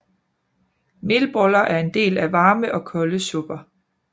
Melboller er en del af varme og kolde supper